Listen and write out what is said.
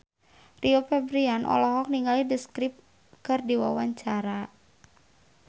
Rio Febrian olohok ningali The Script keur diwawancara